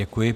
Děkuji.